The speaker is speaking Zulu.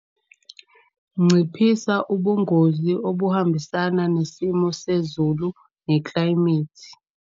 Nciphisa ubungozi obuhambisana nesimo sezulu neklayimethi.